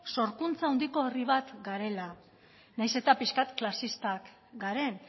sorkuntza handiko herri bat garela nahiz eta pixka bat klasistak garen